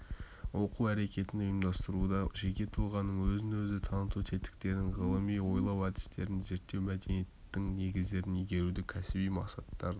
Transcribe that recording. оқу әрекетін ұйымдастыруда жеке тұлғаның өзін-өзі таныту тетіктерін ғылыми ойлау әдістерін зерттеу мәдениетінің негіздерін игеруді кәсіби мақсаттарын